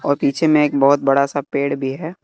और पीछे में एक बहोत बड़ा सा पेड़ भी है।